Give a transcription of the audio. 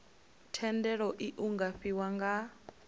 thendelo iu nga fhiwa nga